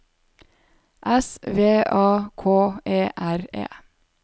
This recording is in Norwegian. S V A K E R E